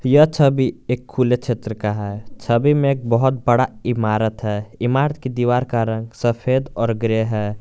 यह छवी एक खुले क्षेत्र का है छवि में एक बहुत बड़ा इमारत है इमारत की दीवार का रंग सफेद और ग्रे है।